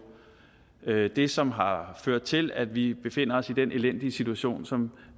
er det som har ført til at vi befinder os i den elendige situation som